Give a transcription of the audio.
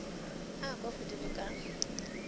a a kwa godimo ka